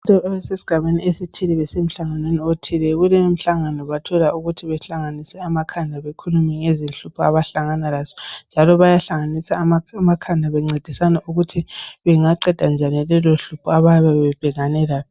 Abantu abasesigabeni esithile besemhlanganweni othile. Kulowomhlangano bathola ukuthi bahlanganise amakhanda bekhulume ngezinhlupho abahlangana lazo. Njalo bayahlanganisa amakhanda bencedisana ukuthi bengaqeda njani lelohlupho abayabe bebhekane lalo.